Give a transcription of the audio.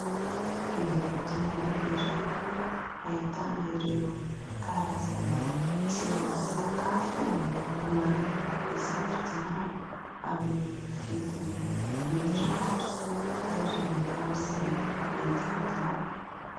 Fivarotana iray, ahitana ireo karazana tsirona sakafo maro hisafidianana amin'ny vidiny mirary ary amin'izay mety aminao.